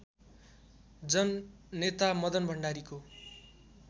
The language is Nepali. जननेता मदन भण्डारीको